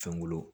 Fɛnkolo